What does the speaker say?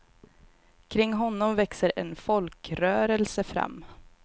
Kring honom växer en folkrörelse fram.